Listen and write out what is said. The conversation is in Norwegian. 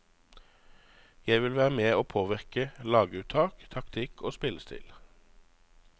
Jeg vil være med og påvirke laguttak, taktikk og spillestil.